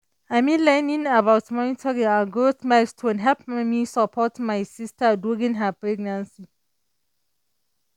i mean learning about monitoring ah growth milestones helped me support my sister during her pregnancy.